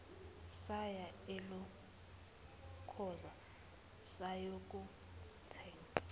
saya elokhoza sayokuthenga